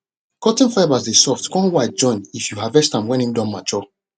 cotton fibres dey soft con white join if you harvest am wen im don mature